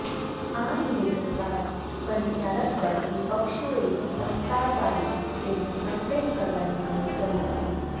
આ નિવેદન બાદ પરિચારક પર વિપક્ષોએ પસ્તાળ પાડી તેમને સસ્પેન્ડ કરવાની માગણી કરી હતી